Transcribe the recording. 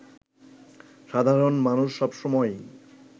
সাধারণ মানুষ সব সময়ই